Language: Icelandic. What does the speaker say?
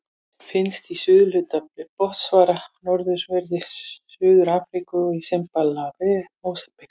Finnst í suðurhluta Botsvana, norðanverðri Suður-Afríku og í Simbabve og Mósambík.